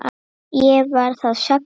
Ég var þá sex ára.